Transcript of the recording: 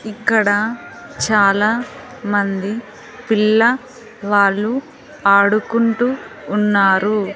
ఇక్కడ చాలా మంది పిల్ల వాళ్ళు ఆడుకుంటూ ఉన్నారు.